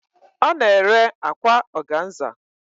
Ọ na-ere akwa ọganza